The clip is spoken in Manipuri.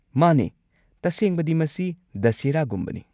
ꯃꯥꯅꯦ, ꯇꯁꯦꯡꯕꯗꯤ, ꯃꯁꯤ ꯗꯁꯦꯍꯔꯥꯒꯨꯝꯕꯅꯤ꯫